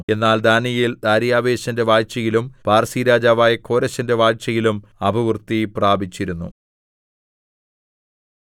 എന്നാൽ ദാനീയേൽ ദാര്യാവേശിന്റെ വാഴ്ചയിലും പാർസിരാജാവായ കോരെശിന്റെ വാഴ്ചയിലും അഭിവൃദ്ധിപ്രാപിച്ചിരുന്നു